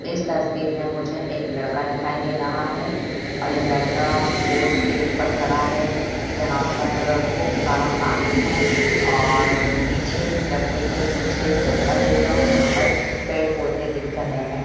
इस तस्वीर में मुझे एक लड़का दिखाई दे रहा है और यह लड़का बोट के उपर खड़ा है जहाँ पर खूब सारा पानी है और पीछे इस लड़के के पीछे जंगल एरिया है जहाँ पर पेड़ पौधे दिख रहे है।